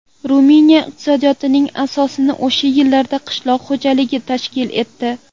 Ruminiya iqtisodiyotining asosini o‘sha yillarda qishloq xo‘jaligi tashkil etdi.